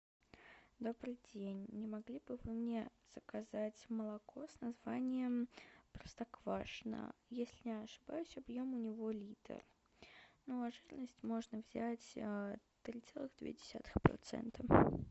добрый день не могли бы вы мне заказать молоко с названием простоквашино если не ошибаюсь объем у него литр ну а жирность можно взять три целых две десятых процента